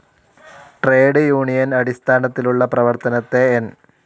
Trade union അടിസ്ഥാനത്തിലുള്ള പ്രവർത്തനത്തെ N.